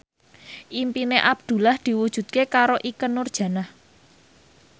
impine Abdullah diwujudke karo Ikke Nurjanah